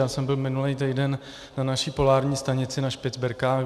Já jsem byl minulý týden na naší polární stanici na Špicberkách.